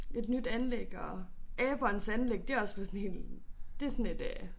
Et nyt anlæg og abernes anlæg det også blevet sådan helt det sådan et øh